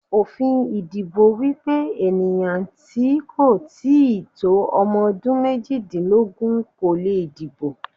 Òfin ìdìbò wípé ènìyàn tí kò tíì tó ọmọ dún méjìdínlógún kò le dìbò.